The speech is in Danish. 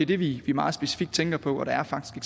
det vi meget specifikt tænker på og der er faktisk